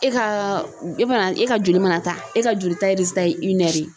E ka e mana e ka joli mana ta e ka joli ta